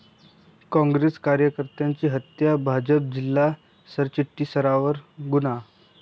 काँग्रेस कार्यकर्त्याची हत्या, भाजप जिल्हा सरचिटणीसावर गुन्हा